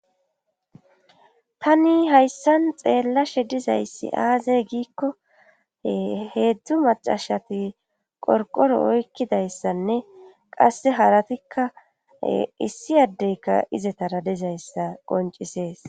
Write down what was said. Tani hayssan xeellashe dizayssi aazey giikko heedzdzu macashati qorqoro oykkidayssanne qasse haratikka issi addeyka izetara dizayssa qoncisees.